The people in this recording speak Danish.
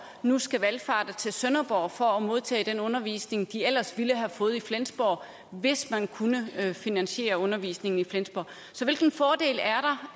nu skal valfarte til sønderborg for at modtage den undervisning de ellers ville have fået i flensborg hvis man kunne finansiere undervisningen i flensborg så hvilken fordel er der